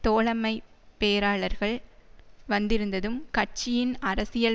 தோழமைப் பேராளர்கள் வந்திருந்ததும் கட்சியின் அரசியல்